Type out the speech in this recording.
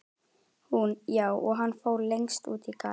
Hún: Já, og hann fór lengst út í garð.